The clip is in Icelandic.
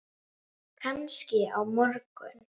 Kannski á morgun.